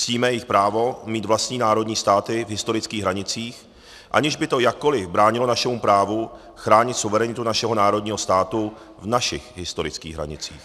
Ctíme i právo mít vlastní národní státy v historických hranicích, aniž by to jakkoliv bránilo našemu právu chránit suverenitu našeho národního státu v našich historických hranicích.